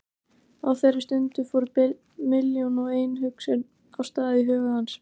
Á þeirri stundu fóru milljón og ein hugsun af stað í huga hans.